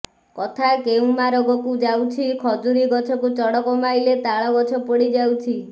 କଥା କେଉଁ ମାରଗକୁ ଯାଉଛି ଖଜୁରୀ ଗଛକୁ ଚଡ଼କ ମାଇଲେ ତାଳ ଗଛ ପୋଡ଼ି ଯାଉଛି